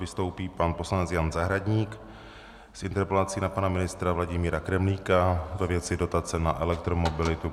Vystoupí pan poslanec Jan Zahradník s interpelací na pana ministra Vladimíra Kremlíka ve věci dotace na elektromobilitu.